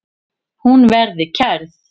Hún verði kærð.